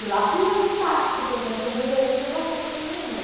E lá fui eu de táxi para Operação Bandeirantes levar roupa para minha mãe.